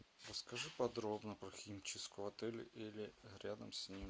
расскажи подробно про химчистку в отеле или рядом с ним